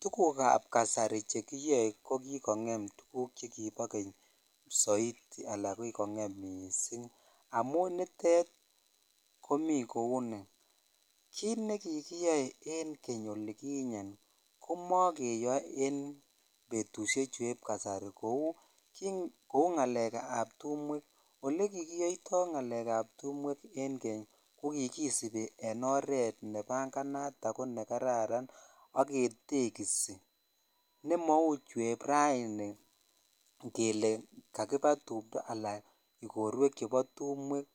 Tukukab kasari chekiyoe ko kikong'em tukuk chekibo keny soiti alaa kikong'em mising amun nitet komii kouni, kiit nekikiyoe keny olikinye komokeyoe en betushechueb kasari kouu ng'alekab tumwek, olekikiyoito ng'alekab tumwek en keny ko kikisibi en oreet nebanganat ak ko nekararan ak ketekisi nemou chueb raini kelee kakiba tumndo alaa ikorwek chebo tumwek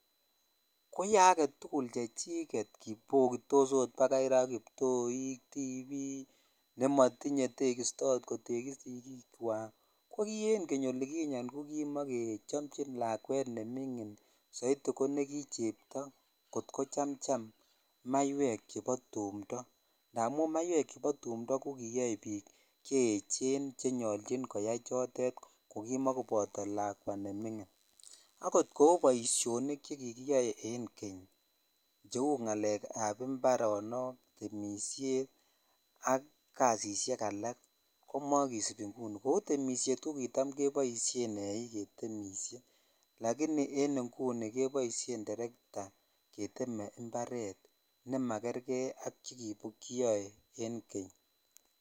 koyoe aketukul chechiket bokitos oot bakai raa kiptoik, tibik nemotinye oot teksto kotekis sikiikwak, ko kii en keny olikinye ko kimokechomchin lakwet neming'in soiti ko nekichepto kot ko chamcham maiwek chebo tumndo amun maiwek chebo tumndo koyoe biik cheyechen chenyolchi koyai chotet ko kimokoboto lakwa neming'in, akot kouu boishonik chekikiyoe en keny cheuu ng'alekab imbaronok, temishet ak kasishek alak komokisibi ing'uni kouu temishet ko kitam keboishen eiik ketemishe lakini en ing'uni keboishen terekta keteme imbaret nemakerke ak chukikiyoe en keny.